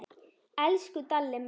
Elsku Dalli minn.